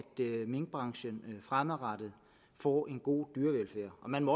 minkbranchen fremadrettet får en god dyrevelfærd man